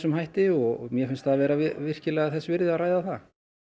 hætti og mér finnst það vera virkilega þess virði að ræða það